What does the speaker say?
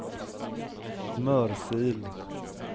Mörsil